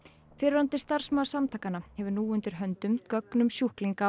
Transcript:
fyrrverandi starfsmaður samtakanna hefur nú undir höndum gögn um sjúklinga á